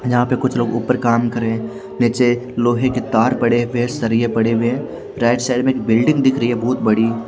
यहाँ पे कुछ लोग ऊपर काम कर रहे नीचे लोहे के तार पड़े हुए हैं सरिए पड़े हुए हैं राइट साइड में एक बिल्डिंग दिख रही है बोत बड़ी।